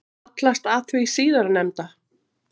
Hallast að því síðarnefnda.